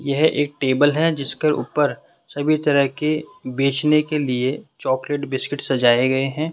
यह एक टेबल है जिसके ऊपर सभी तरह की बेचने के लिए चॉकलेट बिस्किट सजाए गए हैं।